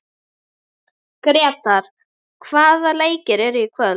Gretar, hvaða leikir eru í kvöld?